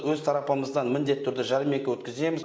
өз тарапымыздан міндетті түрде жәрмеңке өткіземіз